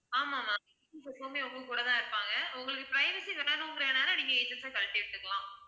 ஆமாம் ma'am எப்பவுமே உங்க கூட தான் இருப்பாங்க உங்களுக்கு privacy வேணும்ங்கிறதனால நீங்க agents அ கழட்டி விட்டுக்கலாம்